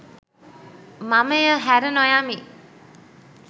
මම එය හැර නොයමි